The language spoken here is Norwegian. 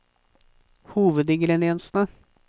hovedingrediensene